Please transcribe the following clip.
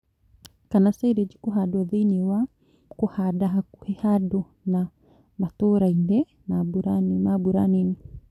kana silage kũhandwo thĩinĩ wa kũhanda hakuhĩ handũ ha matũra-ini ma mbura Nini